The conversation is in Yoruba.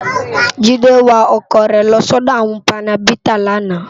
Jide wá òkò re lò si òdò áwòn pánèbitá làná